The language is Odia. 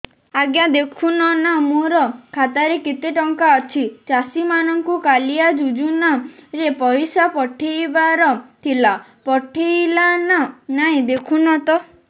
ଆଜ୍ଞା ଦେଖୁନ ନା ମୋର ଖାତାରେ କେତେ ଟଙ୍କା ଅଛି ଚାଷୀ ମାନଙ୍କୁ କାଳିଆ ଯୁଜୁନା ରେ ପଇସା ପଠେଇବାର ଥିଲା ପଠେଇଲା ନା ନାଇଁ ଦେଖୁନ ତ